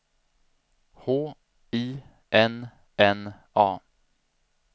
H I N N A